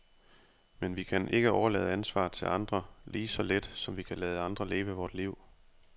Men vi kan ikke overlade ansvaret til andre, lige så lidt som vi kan lade andre leve vort liv.